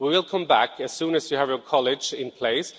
We will come back to it as soon as you have your college in place.